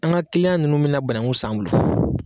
An ka ninnu bɛ na banankuw san an bolo